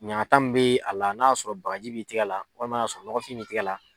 Ɲagata min bɛ a la n'a y'a sɔrɔ bagaji b'i tigɛ la walima n'a y'a sɔrɔ nɔgɔfin bi tigɛ la